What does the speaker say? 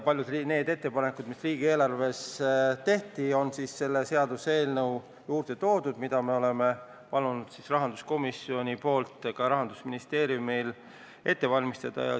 Paljud nendest ettepanekutest, mis riigieelarvesse tehti, on toodud selle seaduseelnõu juurde, mida me rahanduskomisjoni nimel oleme palunud Rahandusministeeriumil ette valmistada.